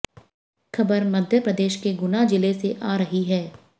खबर मध्यप्रदेश के गुना जिले से आ रही है